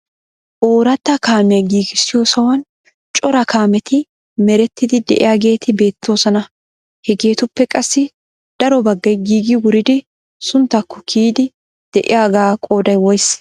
oorata kaamiya giigissiyo sohuwan cora kaameti meretiidi de'iyaageeti beettoosona. hegetuppe qassi daro baggay giigi wuridi sunttakko kiyyidi de'iyaaga qooday woysse?